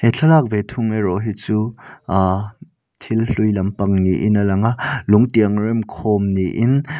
he thlalak ve thung erawh hi chu aa thil hlui lampang niin a lang a lung tiang rem khawm niin--